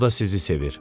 O da sizi sevir.